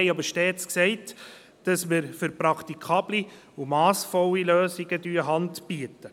Wir haben stets gesagt, dass wir für praktikable und massvolle Lösungen handbieten.